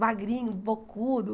magrinho, bocudo.